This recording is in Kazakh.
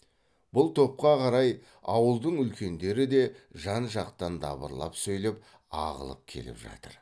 бұл топқа қарай ауылдың үлкендері де жан жақтан дабырлап сөйлеп ағылып келіп жатыр